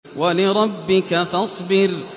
وَلِرَبِّكَ فَاصْبِرْ